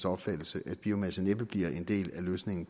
opfattelse at biomasse næppe bliver en del af løsningen